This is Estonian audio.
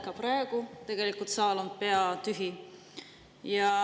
Ka praegu on saal peaaegu tühi.